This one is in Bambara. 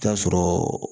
T'a sɔrɔ